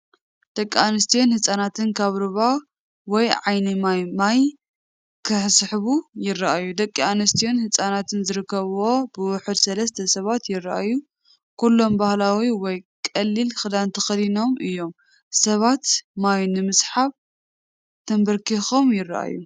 ደቂ ኣንስትዮን ህጻናትን ካብ ሩባ ወይ ዓይኒ ማይ ማይ ክስሕቡ ይረኣዩ። ደቂ ኣንስትዮን ህጻናትን ዝርከብዎም ብውሕዱ ሰለስተ ሰባት ይረኣዩ። ኩሎም ባህላዊ ወይ ቀሊል ክዳን ተኸዲኖም እዮም። ሰባት ማይ ንምስሓብ ተንበርኪኾም ይረኣዩ።